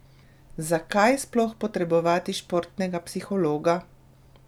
Zakaj sploh potrebovati športnega psihologa?